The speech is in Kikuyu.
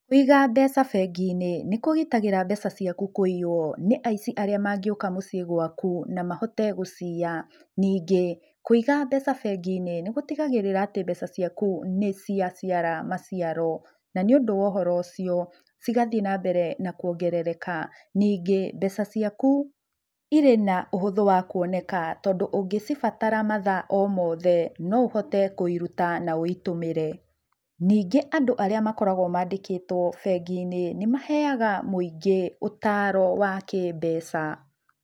Kũiga mbeca bengi-inĩ nĩkũgitagĩra mbeca ciaku kũiyũo nĩ aĩci arĩa mangĩũka mũciĩ gwaku na mahote guciya, ningĩ, kũiga mbeca bengi-inĩ, nĩgũtigagĩrĩra atĩ mbeca ciaku nĩciaciara maciaro, na niũndũ wa ũhoro ucio, cigathiĩ na mbere na kuongerereka. Ningĩ, mbeca ciaku irĩ na ũhũthũ wa kũoneka, tondũ ũngĩcibatara mathaa o mothe, no ũhote kũiruta na ũitũmĩre, ningĩ andũ arĩa makoragwo maandĩkĩtwo bengi-inĩ nĩ maheaga mũingĩ ũtaaro wa kĩmbeca.